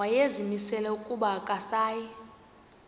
wayezimisele ukuba akasayi